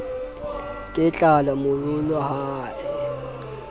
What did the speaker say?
ke tlala morolo ha e